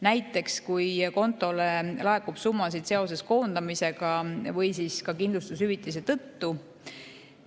Näiteks, kui kontole laekub summasid seoses koondamisega või ka kindlustushüvitise tõttu.